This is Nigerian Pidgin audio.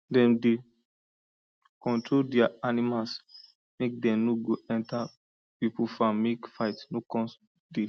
dem dey control dia animals make dem no go enter people farm make fight no con dey